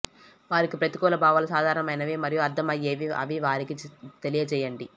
వారికి ప్రతికూల భావాలు సాధారణమైనవి మరియు అర్థమయ్యేవి అని వారికి తెలియజేయండి